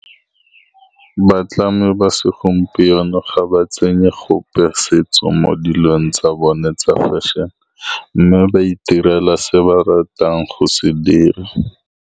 Batlhami ba segompieno ga ba tsene gope setso mo dilong tsa bone tsa fashion-e, mme ba itirela se ba ratang go se dira.